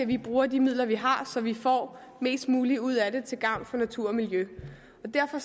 vi bruger de midler vi har så vi får mest muligt ud af det til gavn for natur og miljø derfor